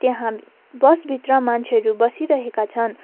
यहाँ बस भित्र मान्छेहरू बसिरहेका छन्।